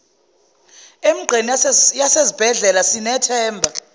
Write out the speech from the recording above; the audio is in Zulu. emigqeni yasezibhedlela sithemba